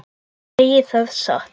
Ég segi það satt.